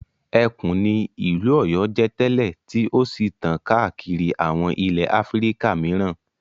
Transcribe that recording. Ẹkùn ni ìlú Ọ̀yọ́ jẹ́ tẹ́lẹ̀ tí ó sì tàn káàkiri àwọn ilẹ̀ Áfíríkà mìíràn.